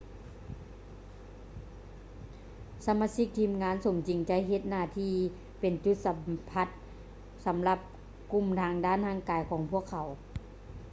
ສະມາຊິກທີມງານສົມຈິງຈະເຮັດໜ້າທີ່ເປັນຈຸດສຳພັດສຳລັບກຸ່ມທາງດ້ານຮ່າງກາຍຂອງພວກເຂົາ